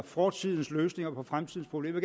fortidens løsninger på fremtidens problemer